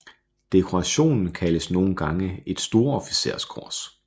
Dekorationen kaldes nogle gange et storofficerskors